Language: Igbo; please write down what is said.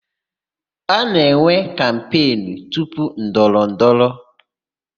A na-enwe kampenụ tupu ndọrọ ndọrọ.